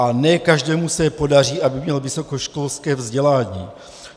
A ne každému se podaří, aby měl vysokoškolské vzdělání.